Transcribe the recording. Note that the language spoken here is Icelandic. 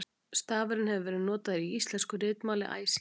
stafurinn hefur verið notaður í íslensku ritmáli æ síðan